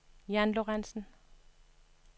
Jan Lorentzen